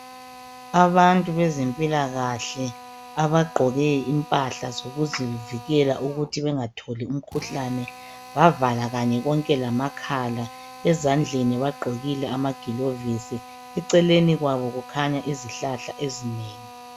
Abantu bezempilakahle abagqoke impahla zokuzivikela ukuthi bengatholi imikhuhlane bavala kanye konke lamakhala. Ezandleni bagqokile amagilovisi, eceleni kwabo kukhanya izihlahla ezinengi.